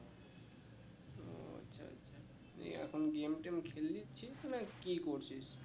এই এখন game টেম খেলে নিচ্ছিস না কি করছিস?